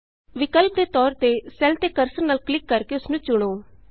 ਵਿਕਲਪ ਦੇ ਤੌਰ ਤੇ ਸੈੱਲ ਤੇ ਕਰਸਰ ਨਾਲ ਕਲਿਕ ਕਰਕੇ ਉਸਨੂੰ ਚੁਣੋ